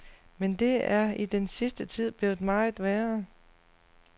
Men det er i den sidste tid blevet meget værre.